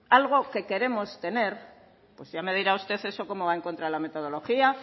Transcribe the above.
algo que queremos tener pues ya me dirá usted eso cómo va en contra de la metodología